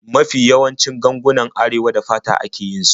Mafi yawancin gangunan Arewa da fata ake yin su.